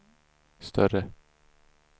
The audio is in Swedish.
större